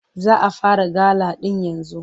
Za a fara gala ɗin yanzu.